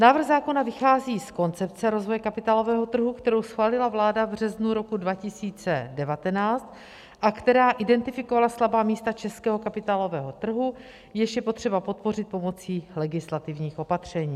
Návrh zákona vychází z koncepce rozvoje kapitálového trhu, kterou schválila vláda v březnu roku 2019 a která identifikovala slabá místa českého kapitálového trhu, jež je potřeba podpořit pomocí legislativních opatření.